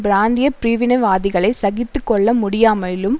பிராந்திய பிரிவினைவாதிகளை சகித்து கொள்ள முடியாமலும்